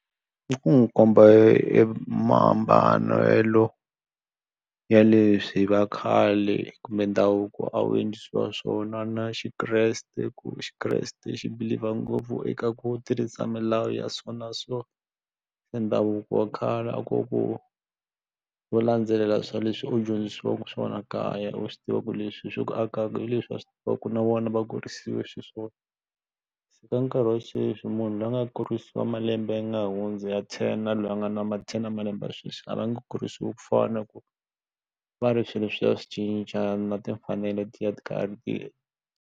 I ku n'wi komba e mahambanelo ya leswi vakhale kumbe ndhavuko a wu endlisiwa swona na Xikreste ku Xikreste xi believer ngopfu eka ku tirhisa milawu ya so na so se ndhavuko wa khale a ku ku wo landzelela swa leswi u dyondzisiwaka swona kaya u swi tiva ku leswi swi ku akaka hi leswi a swi tiva ku na vona va kurisiwe xiswona se ka nkarhi wa sweswi munhu loyi a nga kurisa malembe lawa ya nga hundza ya ten na loyi a nga na ma then ya malembe ya sweswi a va nge kurisiwi ku fana na ku va ri swilo swi ya swi cinca na timfanelo ti ya ti karhi ti.